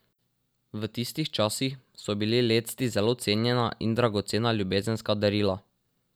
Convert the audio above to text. V tistih časih so bili lecti zelo cenjena in dragocena ljubezenska darila.